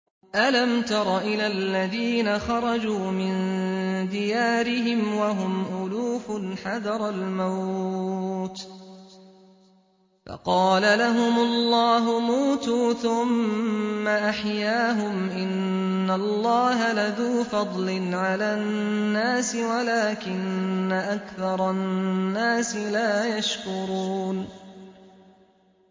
۞ أَلَمْ تَرَ إِلَى الَّذِينَ خَرَجُوا مِن دِيَارِهِمْ وَهُمْ أُلُوفٌ حَذَرَ الْمَوْتِ فَقَالَ لَهُمُ اللَّهُ مُوتُوا ثُمَّ أَحْيَاهُمْ ۚ إِنَّ اللَّهَ لَذُو فَضْلٍ عَلَى النَّاسِ وَلَٰكِنَّ أَكْثَرَ النَّاسِ لَا يَشْكُرُونَ